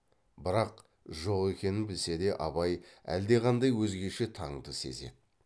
бірақ жоқ екенін білсе де абай әлдеқандай өзгеше таңды сезеді